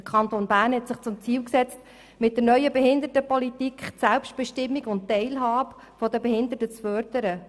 Der Kanton Bern hatte sich zum Ziel gesetzt, mit der neuen Behindertenpolitik die Selbstbestimmung und Teilhabe der Behinderten zu fördern.